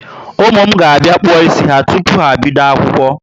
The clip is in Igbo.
Ụmụ m ga bia kpuo ísì ha tupu ha ebido akwụkwọ